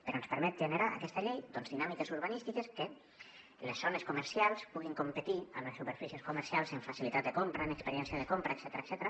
però ens permet generar aquesta llei dinàmiques urbanístiques perquè les zones comercials puguin competir amb les superfícies comercials en facilitat de compra en experiència de compra etcètera